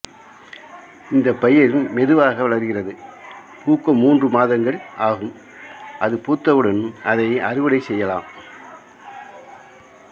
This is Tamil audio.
இந்த பயிர் மெதுவாக வளர்கிறது பூக்க மூன்று மாதங்கள் ஆகும் அது பூத்தவுடன் அதை அறுவடை செய்யலாம்